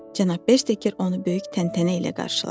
Cənab Beker onu böyük təntənə ilə qarşıladı.